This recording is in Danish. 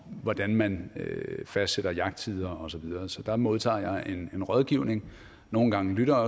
hvordan man fastsætter jagttider og så videre så der modtager jeg en rådgivning nogle gange lytter